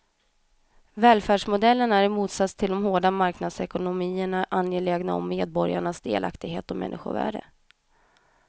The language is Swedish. Välfärdsmodellen är i motsats till de hårda marknadsekonomierna angelägen om medborgarnas delaktighet och människovärde.